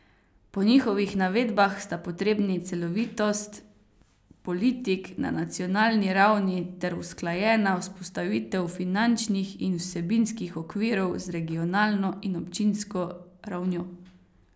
Po njihovih navedbah sta potrebni celovitost politik na nacionalni ravni ter usklajena vzpostavitev finančnih in vsebinskih okvirov z regionalno in občinsko ravnjo.